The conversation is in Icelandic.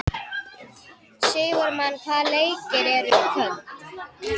Sigurmann, hvaða leikir eru í kvöld?